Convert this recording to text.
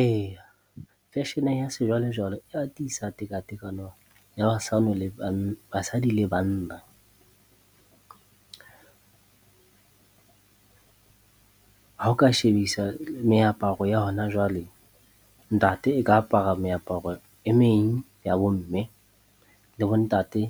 Eya, fashion-e ya sejwalejwale e atisa tekatekano ya , basadi le banna. Ha o ka shebisa meaparo ya hona jwale, ntate e ka apara meaparo e meng ya bo mme, le bo ntate